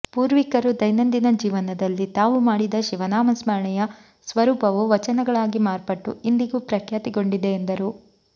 ಪೂರ್ವಿಕರು ದೈನಂದಿನ ಜೀವನದಲ್ಲಿ ತಾವು ಮಾಡಿದ ಶಿವನಾಮ ಸ್ಮರಣೆಯ ಸ್ವರೂಪವು ವಚನಗಳಾಗಿ ಮಾರ್ಪಟ್ಟು ಇಂದಿಗೂ ಪ್ರಖ್ಯಾತಿಗೊಂಡಿದೆ ಎಂದರು